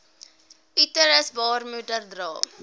uterus baarmoeder dra